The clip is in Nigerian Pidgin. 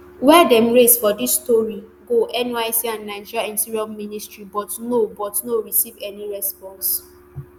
wey dem raise for dis story go nysc and nigeria interior ministry but no but no receive any response